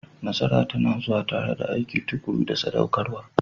Nasara tana zuwa tare da aiki tuƙuru da saɗaukarwa.